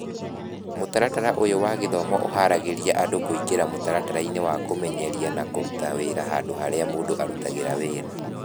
Mũtaratara ũyũ wa gĩthomo ũhaaragĩria andũ kũingĩra mĩtaratara-inĩ ya kũmenyeria na kũruta wĩra handũ harĩa mũndũ arutaga wĩra